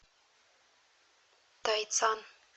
тайцан